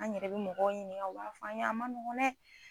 An yɛrɛ bɛ mɔgɔw ɲinika, i b'a fɔ an a ma nɔgɔ dɛ